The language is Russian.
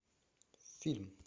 фильм